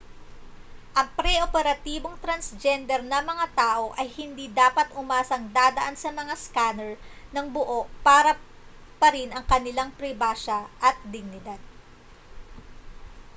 ang pre-operatibong transgender na mga tao ay hindi dapat umasang dadaan sa mga scanner nang buo pa rin ang kanilang pribasya at dignidad